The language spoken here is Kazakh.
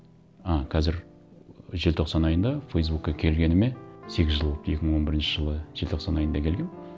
ы қазір желтоқсан айында фейсбукқа келгеніме сегіз жыл болыпты екі мың он бірінші жылы желтоқсан айында келгенмін